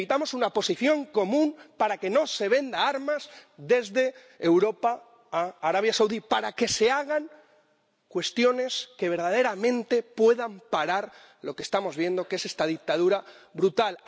Necesitamos una posición común para que no se vendan armas desde Europa a Arabia Saudí, para que se tomen medidas que verdaderamente puedan parar lo que estamos viendo, que es esta dictadura brutal.